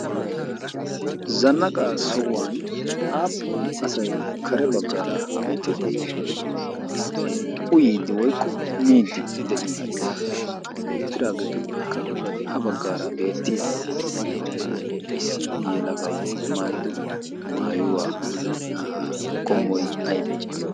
zanaqaa sohuwani aapun asay kare bagaara utiidi miidi de'ii? qassi issi yelagay maayido maayuwa meray aymalee?